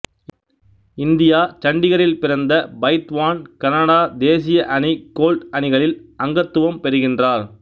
India சண்டிகார்இல் பிறந்த பைத்வான் கனடா தேசிய அணி கோல்ட் அணிகளில் அங்கத்துவம் பெறுகின்றார்